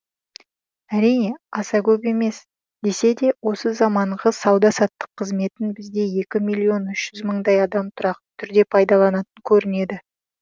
әрине аса көп емес десе де осы заманғы сауда саттық қызметін бізде екі миллион үш жүз мыңдай адам тұрақты түрде пайдаланатын көрінеді